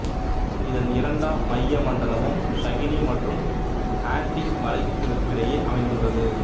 இதன் இரண்டாம் மையமண்டலம் சஹினி மற்றும் ஆன்ட்டி மலைகளுக்கிடையே அமைந்துள்ளது